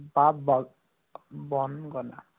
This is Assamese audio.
বা